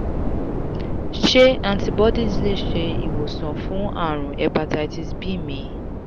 ṣé antibodies le se iwosan fun àrùn hepatitis b mi?